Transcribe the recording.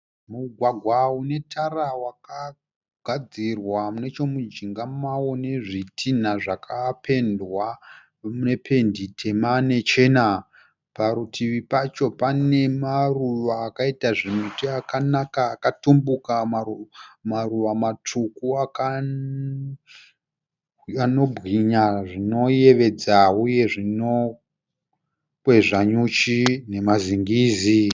Mugwagwa une tara wakagadzirwa nechomujinga mavo nezvitina zvakapendwa nependi tema nechena. Parutivi pacho pane maruva akaita zvimiti akanaka akatumbuka maruva matsvuku anobwinya zvinoyevedza uye zvinokwezva nyuchi nemazingizi.